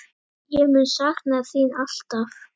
Ég mun sakna þín alltaf.